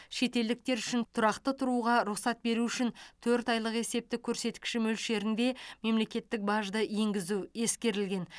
шетелдіктер үшін тұрақты тұруға рұқсат беру үшін төрт айлық есептік көрсеткіші мөлшерінде мемлекеттік бажды енгізу ескерілген